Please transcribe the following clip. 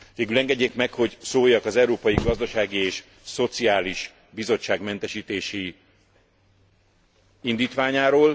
Végül engedjék meg, hogy szóljak az Európai Gazdasági és Szociális Bizottság mentesítési indítványáról.